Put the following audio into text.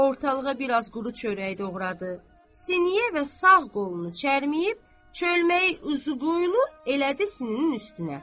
Ortalağa biraz quru çörək doğradı, siniyə və sağ qolunu çərməyib, çölməyi uzunqoylu elədi sininin üstünə.